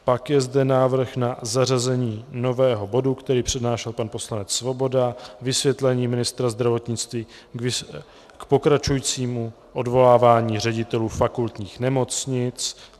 Pak je zde návrh na zařazení nového bodu, který přednášel pan poslanec Svoboda - Vysvětlení ministra zdravotnictví k pokračujícímu odvolávání ředitelů fakultních nemocnic.